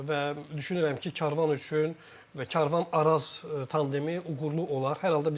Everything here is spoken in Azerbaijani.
Və düşünürəm ki, Karvan üçün Karvan Araz tandemi uğurlu olar.